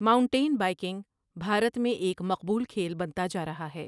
Mountain biking Bharat میں ایک مقبول کھیل بنتا جا رہا ہے۔